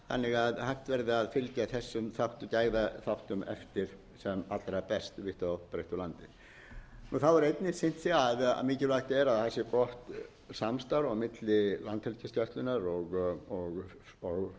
að hægt verði að fylgja þessum gæðaþáttum eftir sem allra best vítt og breitt um landið einnig hefur sýnt sig að mikilvægt er að það sé gott samstarf á milli landhelgisgæslunnar og